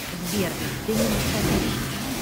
сбер ты ненастоящая